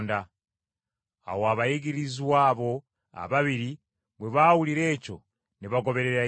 Awo abayigirizwa abo ababiri bwe baawulira ekyo ne bagoberera Yesu.